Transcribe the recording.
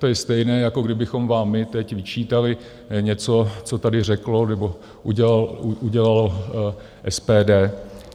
To je stejné, jako kdybychom vám my teď vyčítali něco, co tady řeklo nebo udělalo SPD.